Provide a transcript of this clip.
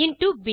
into ப்